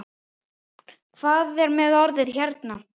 Hver er með orðið hérna?